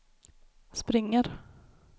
springer